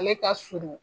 Ale ka surun